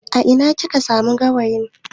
A ina kika samu gawayin?